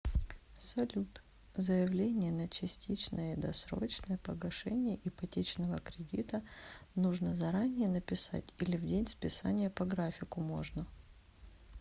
салют заявление на частичное досрочное погашение ипотечного кредита нужно заранее написать или в день списания по графику можно